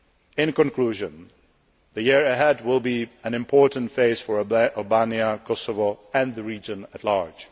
year. In conclusion, the year ahead will be an important phase for Albania, Kosovo and the region at large.